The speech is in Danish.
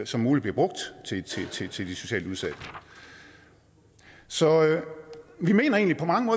som muligt bliver brugt til til de socialt udsatte så vi mener egentlig på mange